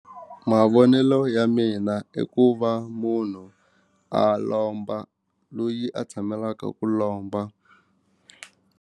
Mavonelo ya mina i ku va munhu a lomba loyi a tshamelaka ku lomba.